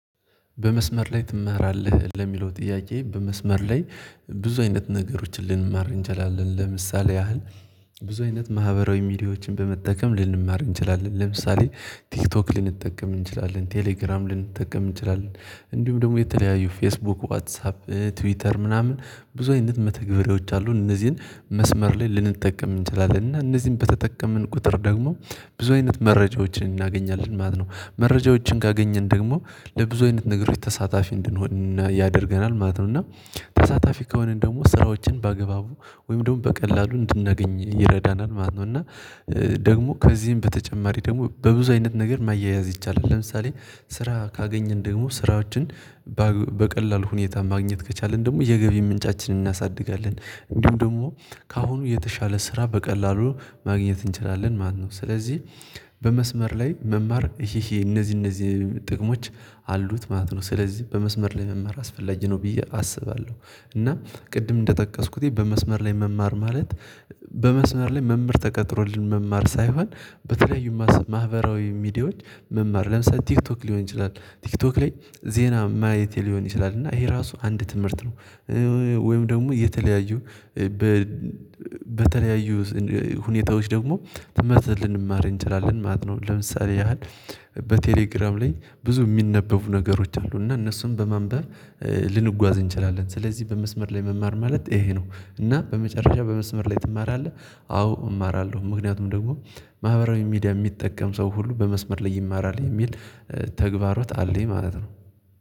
በመስመር ላይ ትማራለህ? ለሚለው ጥያቄ በመስመር ላይ ብዙ አይነት ነገሮችን ልንማር እንችላለን። ለምሳሌ ያህል ብዙ አይነት ማህበራዊ ሚዲያዎችን በመጠቀም ልንማር እንችላለን። ለምሳሌ ቲክቶክ ልንጠቀም እንችላለን ቴሌግራም ልንጠቀም እንችላለን እንዲሁም ደግሞ የተለያዩ ፌስቡክ ዋትሳፕ ትዊተር ምናምን ብዙ አይነት መተግበሬዎች አሉን። እነዚህን መስመር ላይ ልንጠቀም እንችላለን እና እነዚህን በተጠቀምን ቁጥር ደግሞ ብዙ አይነት መረጃዎችን እናገኛለን ማለት ነው። መረጃዎችን ካገኘን ደግሞ ለብዙ አይነት ነገሮች ተሳታፊ እንድንሆን ያደርገናል ማለት ነው። እና ተሳታፊ ከሆነ ደግሞ ስራዎችን በአግባቡ ወይም ደግሞ በቀላሉ እንድናገኝ ይረዳናል ማለት ነው። እና ደግሞ ከዚህም በተጨማሪ ደግሞ በብዙ አይነት ነገር ማያያዝ ይቻላል። ለምሳሌ ስራ ካገኘን ደግሞ ስራዎችን በቀላሉ ሁኔታ ማግኘት ከቻልን ደግሞ የገቢ ምንጫችንን እናሳድጋለን። እንዲሁም ደግሞ ከአሁኑ የተሻለ ስራ በቀላሉ ማግኘት እንችላለን ማነው። ስለዚህ በመስመር ላይ መማር እነዚህ እነዚህ ጥቅሞች አሉት ማለት ነው። ስለዚህ በመስመር ላይ መማር አስፈላጊ ነው ብየ አስባለሁ። እና ቅድም እንደጠቀስኩት በመስመር ላይ መማር ማለት በመስመር ላይ መምህር ተቀጥሮልን መማር ሳይሆን በተለያዩ ማህበራዊ ሚዲያዎች መማር ለምሳሌ ቲክቶክ ሊሆን ይችላል ቲክቶክ ላይ ዜና ማየቴ ሊሆን ይችላል እና ይሄ ራሱ አንድ ትምህርት ነው። ወይም ደግሞ የተለያዩ በተለያዩ ሁኔታዎች ደግሞ ትመስል ልንማር እንችላለን ማለት ነው። ለምሳሌ ያህል በቴሌግራም ላይ ብዙ የሚነበቡ ነገሮች አሉ እና እነሱን በማንበብ ልንጓዝ እንችላለን። ስለዚህ በመስመር ላይ መማር ማለት ይሄ ነው። እና በመጨረሻ በመስመር ላይ ትማራለህ? አዎ እማራለሁ ምክንያቱም ደግሞ ማህበራዊ ሚዲያ የሚጠቀም ሰው ሁሉ በመስመር ላይ ይማራል። የሚል ተግባሮት አለኝ ማለት ነው።